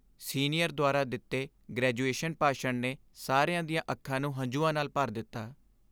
Senior ਦੁਆਰਾ ਦਿੱਤੇ graduation ਭਾਸ਼ਣ ਨੇ ਸਾਰਿਆਂ ਦੀਆਂ ਅੱਖਾਂ ਨੂੰ ਹੰਝੂਆਂ ਨਾਲ ਭਰ ਦਿੱਤਾ।